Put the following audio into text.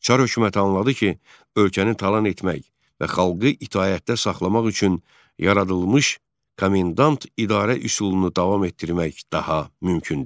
Çar hökuməti anladı ki, ölkəni talan etmək və xalqı itaətdə saxlamaq üçün yaradılmış komendant idarə üsulunu davam etdirmək daha mümkün deyil.